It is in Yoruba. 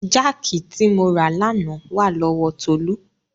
Jáàkì tí mo rà lánàá wà lọ́wọ Tolú.